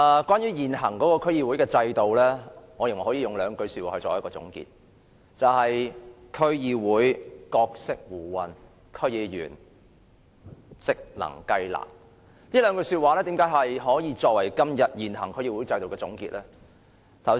關於現行區議會制度，我認為可以用兩句說話作總結，便是"區議會角色胡混，區議員職能雞肋"。這兩句說話為何可以用來總結現行區議會制度呢？